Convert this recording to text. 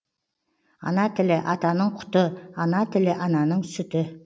ана тілі атаның құты ана тілі ананың сүті